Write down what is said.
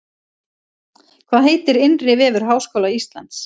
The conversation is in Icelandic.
Hvað heitir innri vefur Háskóla Íslands?